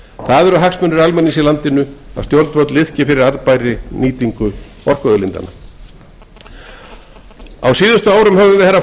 það eru hagsmunir almennings í landinu að stjórnvöld liðki fyrir arðbærri nýtingu orkuauðlindanna á síðustu árum höfum